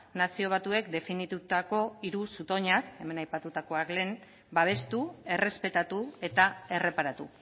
nazio batuek definitutako hiru zutoinak hemen aipatutakoak lehen babestu errespetatu eta erreparatu